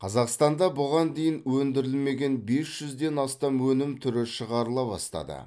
қазақстанда бұған дейін өндірілмеген бес жүзден астам өнім түрі шығарыла бастады